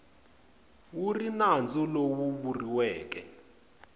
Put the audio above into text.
wu ri nandzu lowu vuriweke